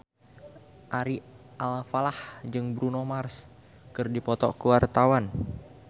Ari Alfalah jeung Bruno Mars keur dipoto ku wartawan